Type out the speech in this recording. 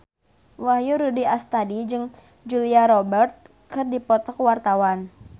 Wahyu Rudi Astadi jeung Julia Robert keur dipoto ku wartawan